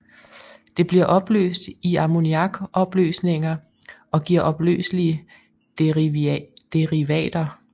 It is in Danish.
Det bliver opløst i ammoniakopløsninger og giver opløselige derivater